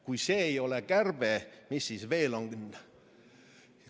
Kui see ei ole kärbe, siis mis see on?